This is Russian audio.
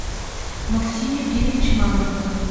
максим евгеньевич мамонтов